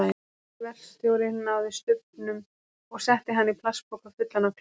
Verkstjóri náði stubbnum og setti hann í plastpoka fullan af klaka.